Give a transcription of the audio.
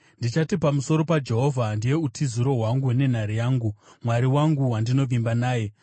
Ndichati pamusoro paJehovha, “Ndiye utiziro hwangu nenhare yangu, Mwari wangu, wandinovimba naye.”